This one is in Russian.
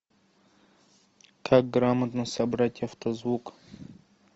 как грамотно собрать авто звук